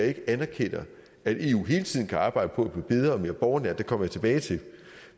ikke anerkender at eu hele tiden kan arbejde på at blive bedre og mere borgernær og det kommer jeg tilbage til